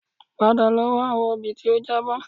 Padà lọ wá àwọn obì tí ó jábọ́